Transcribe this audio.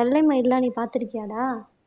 வெள்ளை மயில் எல்லாம் நீ பார்த்திருக்கியாடா